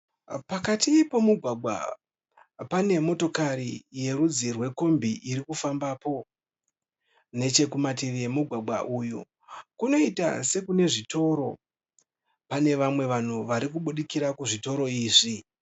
Pakati pomugwagwa, panemotokari yerudzi rwekombi irikufambapo. Nechekumativi emugwagwa uyu, kunoita sekune zvitoro. Pane vamwe vanhu varikubudikira kuzvitoro izvi.